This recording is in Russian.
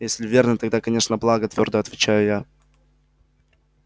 если верный тогда конечно благо твёрдо отвечаю я